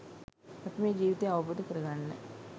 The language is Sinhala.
අපි මේ ජීවිතය අවබෝධ කරගන්න